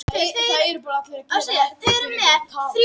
Til eru tvær gerðir lífhimnubólgu.